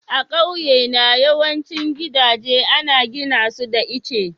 A ƙauyena yawancin gidaje ana gina su da itace.